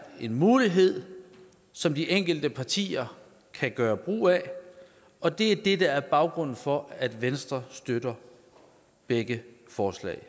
en mulighed som de enkelte partier kan gøre brug af og det er det der er baggrunden for at venstre støtter begge forslag